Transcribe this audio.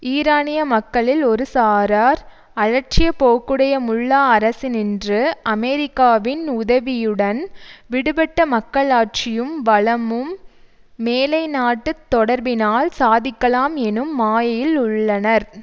ஈரானிய மக்களில் ஒரு சாரார் அலட்சிய போக்குடைய முல்லா அரசினின்று அமெரிக்காவின் உதவியுடன் விடுபட்ட மக்களாட்சியும் வளமும் மேலைநாட்டுத் தொடர்பினால் சாதிக்கலாம் எனும் மாயையில் உள்ளனர்